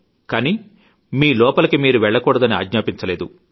అంతా గానీ మీలోపలికి మీరు వెళ్లకూడదని ఆజ్ఞాపించలేదు